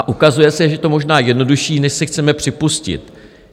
A ukazuje se, že je to možná jednodušší, než si chceme připustit.